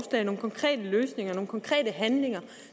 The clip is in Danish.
nogle konkrete løsninger nogle konkrete handlinger